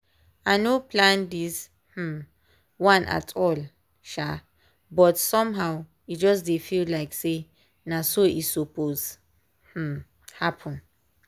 i no plan this um one at all um but somehow e just dey feel like say na so e suppose um happen.